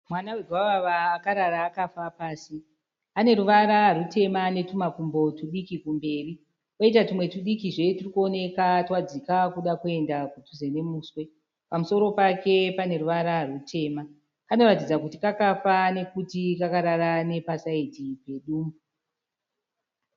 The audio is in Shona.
Mwana wegwavava akarara akafa pasi, ane ruvara rutema netumakumbo tudiki kumberi koita tumwe tudikizve turikuoneka twadzika kuda kuenda padhuze nemuswe. Pamusoro pake ane ruvara rutema, panoratidzawo kuti kakafa nekuti kakarara nepasaidhi pedumbu.